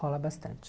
Rola bastante.